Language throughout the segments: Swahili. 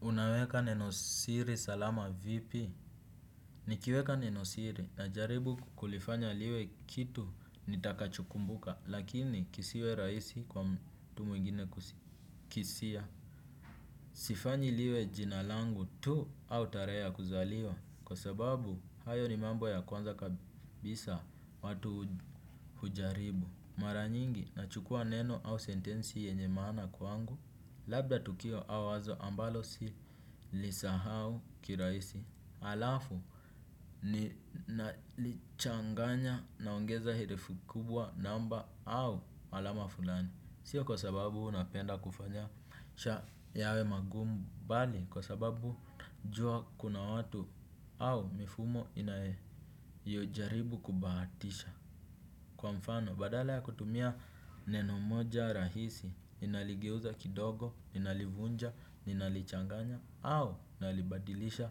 Unaweka nenosiri salama vipi? Nikiweka nenosiri najaribu kulifanya liwe kitu nitakachokumbuka lakini kisiwe rahisi kwa mtu mwingine kukisia. Sifanyi liwe jina langu tu au tarehe ya kuzaliwa kwa sababu hayo ni mambo ya kwanza kabisa watu hujaribu. Mara nyingi, nachukua neno au sentensi yenye maana kwangu, labda tukio au wazo ambalo si lisahau kirahisi, alafu ninalichanganya naongeza herufi kubwa namba au alama fulani. Sio kwa sababu unapenda kufanya yawe magumu bali ni kwa sababu jua kuna watu au mifumo inayojaribu kubahatisha. Kwa mfano badala ya kutumia neno moja rahisi ninaligeuza kidogo, ninalivunja, ninalichanganya au nalibadilisha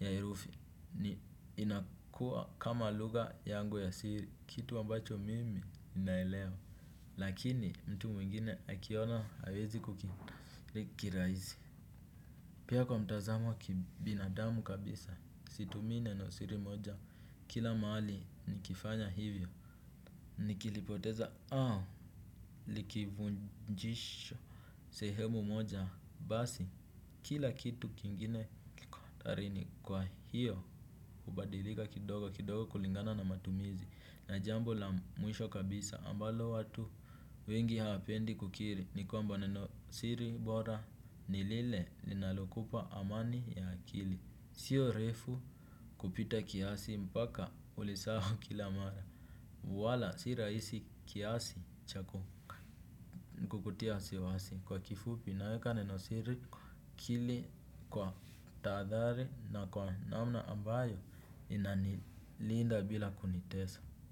ya herufi ni inakuwa kama lugha yangu ya siri kitu ambacho mimi naelewa lakini mtu mwingine akiona hawezi ku kirahisi. Pia kwa mtazamo wa kibinadamu kabisa situmii neno siri moja kila mahali nikifanya hivyo. Nikilipoteza au likivunjisha sehemu moja basi kila kitu kingine kiko hatarini kwa hiyo hubadilika kidogo kidogo kulingana na matumizi na jambo la mwisho kabisa ambalo watu wengi hapendi kukiri ni kwamba neno siri bora ni lile linalokupa amani ya akili. Sio refu kupita kiasi mpaka ulisahau kila mara. Wala si rahisi kiasi cha kukutia wasiwasi kwa kifupi naweka neno siri kili kwa tadhari na kwa namna ambayo inanilinda bila kunitesa.